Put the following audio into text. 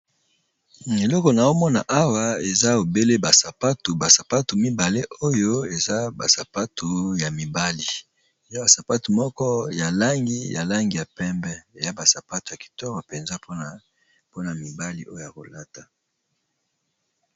Eloko na omona awa eza obele ba sapatu ba sapatu mibale oyo eza ba sapatu ya mibali eza ba sapatu moko ya langi ya langi ya pembe ya ba sapatu ya kitoko mpenza mpona mibali oyo ya kolata.